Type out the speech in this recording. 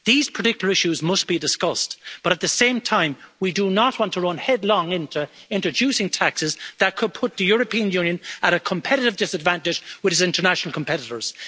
These particular issues must be discussed, but at the same time we do not want to run headlong into introducing taxes that could put the European Union at a competitive disadvantage with its international competitors.